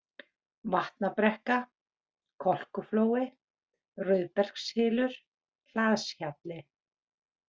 Vatnabrekka, Kolkuflói, Rauðbergshylur, Hlaðshjalli